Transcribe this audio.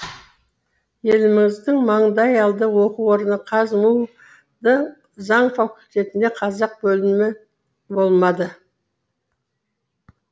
еліміздің маңдайалды оқу орны қазму дың заң факультетінде қазақ бөлімі болмады